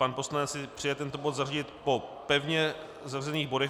Pan poslanec si přeje tento bod zařadit po pevně zařazených bodech.